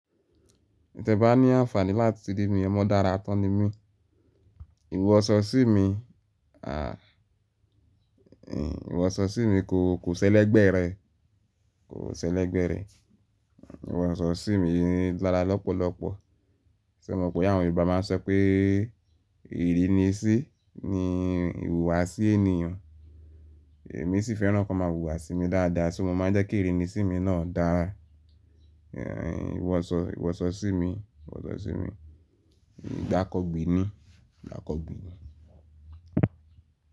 Tẹ bá ní àǹfààní láti rí mi, ọmọ dára tán ni mí. Iwọ sọ sí mi, à, ihnn, iwọ sọ sí mi kò, kò ṣẹlẹ̀ gbẹ́rẹ́, kò ṣẹlẹ̀ gbẹ́rẹ́. Iwọ sọ sí mi ní lára lọ́pọ̀lọ́pọ̀. Ṣé o mọ̀ pé àwọn Yorùbá máa ń sọ pé ìrínisí ni ìhùwàsí ènìyàn. Èmi sì fẹ́ràn kí wọ́n máa wùwàsí mi dáadáa, so mo máa ń jẹ́ kí ìrínisí mi náà dára? Iwọ sọ, iwọ sọ sí mi, iwọ sọ sí mi, gbankọgbí ni, gbankọgbí ni.